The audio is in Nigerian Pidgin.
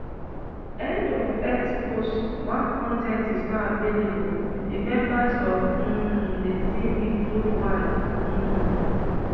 end of x post one con ten t is not available di members of um di team include one um